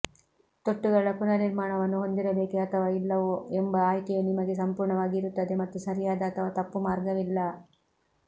ತೊಟ್ಟುಗಳ ಪುನರ್ನಿರ್ಮಾಣವನ್ನು ಹೊಂದಿರಬೇಕೆ ಅಥವಾ ಇಲ್ಲವೋ ಎಂಬ ಆಯ್ಕೆಯು ನಿಮಗೆ ಸಂಪೂರ್ಣವಾಗಿ ಇರುತ್ತದೆ ಮತ್ತು ಸರಿಯಾದ ಅಥವಾ ತಪ್ಪು ಮಾರ್ಗವಿಲ್ಲ